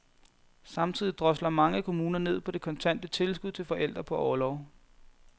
Samtidig drosler mange kommuner ned på det kontante tilskud til forældre på orlov.